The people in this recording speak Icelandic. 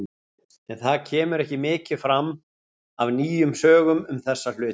En það kemur ekki mikið fram af nýjum sögum um þessa hluti.